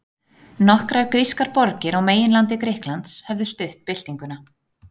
nokkrar grískar borgir á meginlandi grikklands höfðu stutt byltinguna